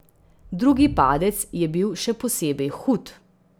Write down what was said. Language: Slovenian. Drugi padec je bil še posebej hud.